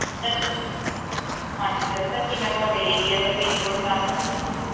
Sir ਹਾਂਜੀ sir sir ਕੀ ਮੈਂ ਤੁਹਾਡੇ area ਦਾ PIN code ਜਾਣ ਸਕਦੀ ਹਾਂ